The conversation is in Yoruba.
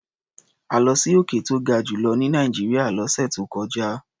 A lọ sí òkè tó ga jù lọ ní Nàìjíríà lọ́sẹ̀ tó kọjá.